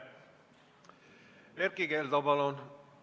Erkki Keldo, palun!